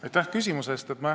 Aitäh küsimuse eest!